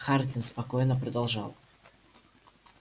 хардин спокойно продолжал